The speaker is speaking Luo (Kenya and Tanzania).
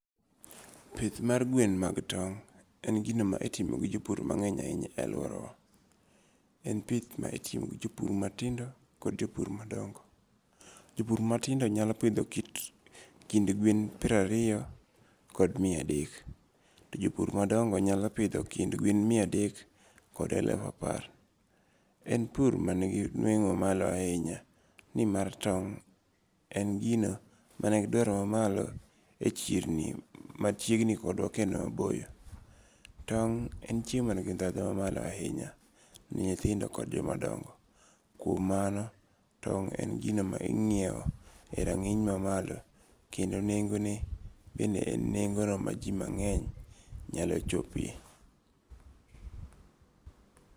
Pith mar gwen mag tong', en gino ma itimo gi jopur mange'ny e aluorawa , en pith ma itimo gi jopur matindo kod jopur madongo' jopur matindo nyalo pitho kit kind gwen pirariyo kod mia adek, to jo pur madongo nyalo pitho kind gwen mia dek kod elufu apar, en pur manigi nwengo' mamalo ahinya ni mar tong' en gino manigidwaro mamalo e chirni machiegni kod kendo maboyo, tong en chiemo manigi thatho mamalo ahinya ne nyithindo kod jomadongo, kuom mano tong en gino ma ingiewo e rangeny mamalo kendo nengone bende en nengono maji mangeny nyalo chopie.